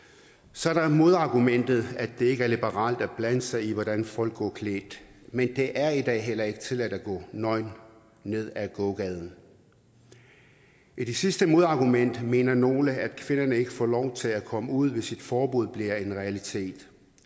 så er der modargumentet at det ikke er liberalt at blande sig i hvordan folk går klædt men det er i dag tilladt tilladt at gå nøgen ned ad gågaden med det sidste modargument mener nogle at kvinderne ikke får lov til at komme ud hvis et forbud bliver en realitet